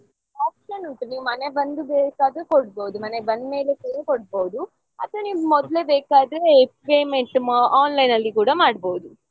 Option ಉಂಟು ನೀವು ಮನೆ ಬಂದು ಬೇಕಾದ್ರೆ ಕೊಡ್ಬೋದು ಮನೆಗೆ ಬಂದ್ಮೇಲೆ ಕೂಡ ಕೊಡ್ಬೋದು ಅಥವಾ ನೀವು ಮೊದ್ಲೇ ಬೇಕಾದ್ರೆ payment online ಅಲ್ಲಿ ಕೂಡ ಮಾಡ್ಬೋದು.